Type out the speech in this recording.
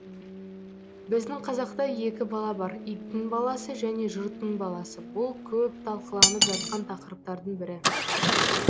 біздің қазақта екі бала бар иттің баласы және жұрттың баласы бұл көп талқыланып жатқан тақырыптардың бірі